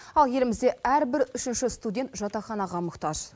ал елімізде әрбір үшінші студент жатақханаға мұқтаж